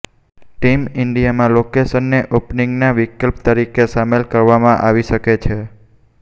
team ઈન્ડિયામાં લોકેશને ઓપનિંગના વિકલ્પ તરીકે સામેલ કરવામાં આવી શકે છે